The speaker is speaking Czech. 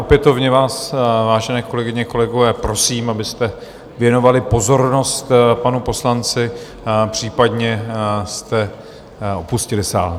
Opětovně vás, vážené kolegyně, kolegové, prosím, abyste věnovali pozornost panu poslanci, případně jste opustili sál.